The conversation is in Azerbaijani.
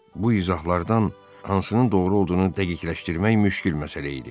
Bu izahlardan hansının doğru olduğunu dəqiqləşdirmək müşqül məsələ idi.